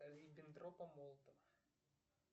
риббентропа молотова